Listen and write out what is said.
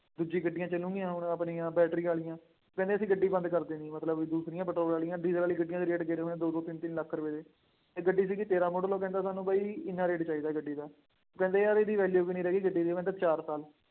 ਦੂਜੀ ਗੱਡੀਆ ਚੱਲੂਗੀਆਂ ਹੁਣ ਆਪਣੀਆਂ ਬੈਟਰੀ ਵਾਲੀਆਂ, ਕਹਿੰਦੇ ਅਸੀਂ ਗੱਡੀ ਬੰਦ ਕਰ ਦੇਣੀ ਹੈ, ਮਤਲਬ ਦੂਸਰੀਆਂ ਪੈਟਰੋਲ ਵਾਲੀਆ, ਡੀਜ਼ਲ ਵਾਲੀਆਂ ਗੱਡੀਆਂ ਦੇ ਰੇਟ ਗਿਰੇ ਹੋਏ ਦੋ ਦੋ ਤਿੰਨ ਤਿੰਨ ਲੱਖ ਰੁਪਏ ਚ, ਇੱਕ ਗੱਡੀ ਸੀਗੀ ਤੇਰਾਂ ਮਾਡਲ ਉਹ ਕਹਿੰਦਾ ਸਾਨੂੰ ਬਈ ਐਨਾ ਰੇਟ ਚਾਹੀਦਾ ਗੱਡੀ ਦਾ, ਉਹ ਕਹਿੰਦੇ ਯਾਰ ਇਹਦੀ value ਵੀ ਨਹੀ ਰਹੀ ਗੱਡੀ ਦੀ ਮਤਲਬ ਚਾਰ ਸਾਲ